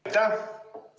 Aitäh!